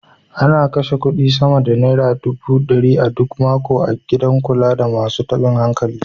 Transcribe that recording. Ana kashe kuɗi sama da naira dubu ɗari a duk mako a gidan kula da masu taɓin hankali.